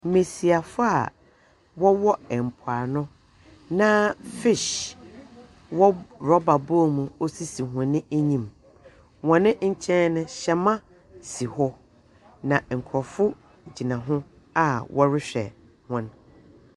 Mmɛsiafoɔ a wɔwɔ mpoano na fish ɛwɔ rubber bowl mu esisi wɔn anim. Hɔn nkyɛn no hyɛma si hɔ. Nkorɔfo gyina ho a ɔrehwɛ hɔn.